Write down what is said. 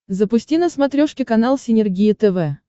запусти на смотрешке канал синергия тв